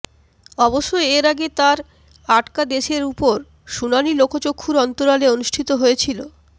অবশ্য এর আগে তার আটকাদেশের ওপর শুনানি লোকচক্ষুর অন্তরালে অনুষ্ঠিত হয়েছিল